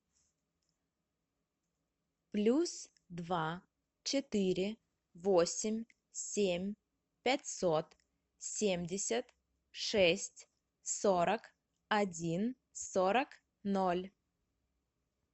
плюс два четыре восемь семь пятьсот семьдесят шесть сорок один сорок ноль